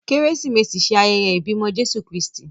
Keresimesi ṣe ayẹyẹ ibimọ Jesu Kristi.